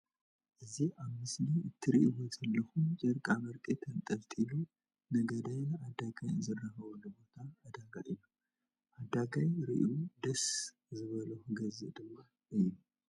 እዚ ኣብ ምስሊ እትርእዎ ዘለኩም ጨርቃመርቂ ተንጠልጢሉ ነጋዳይን ዓዳጋይ ዝራከብሉ ቦታ ዕዳጋ እዩ። ዓዳጋይ ርእዩ ደስ ዝበሎ ክገዝእ ድማ እዩ።